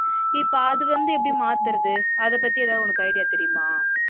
இப்ப அதுவந்து எப்பிடி மாத்துறது அதபத்தி உனக்கு ஏதாவது idea யா தெரியுமா